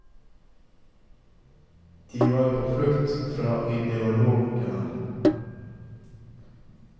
De var på flukt fra ideologiene.